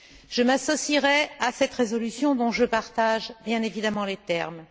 Je m'associerai à cette résolution dont je partage bien évidemment les termes.